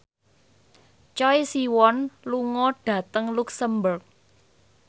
Choi Siwon lunga dhateng luxemburg